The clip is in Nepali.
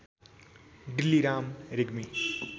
डिल्लीराम रेग्मी